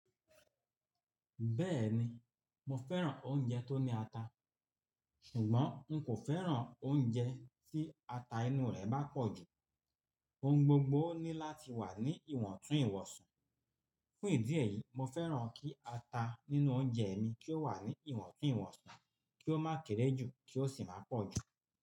Bẹ́ẹ̀ni, mo fẹ́ràn oúnjẹ tó ní ata, ṣùgbọ́n n kò fẹ́ràn oúnjẹ tí ata inú rè bá pọ̀ jù. Ohun gbogbo ní láti wà ní ìwọ̀ntún ìwọ̀sàn. Fún ìdí èyí, mo fẹ́ràn kí ata nínú oúnjẹ mi kí ó wà ní ìwọ̀ntún ìwọ̀nsi, kí ó má kere ju, kí ó sì má pọ̀ jù.